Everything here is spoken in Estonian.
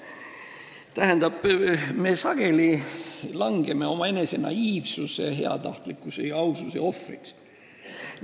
Tähendab, me sageli langeme omaenese naiivsuse, heatahtlikkuse ja aususe ohvriks.